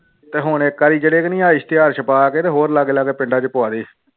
ਤੇ ਹੁਣ ਇੱਕ ਵਾਰੀ ਜਿਹੜੇ ਕਿ ਨੀ ਆਹ ਇਸ਼ਤਿਹਾਰ ਛਪਾ ਕੇ ਤੇ ਹੋਰ ਅਲੱਗ ਅਲੱਗ ਪਿੰਡਾਂ ਚ ਪਵਾ ਦੇ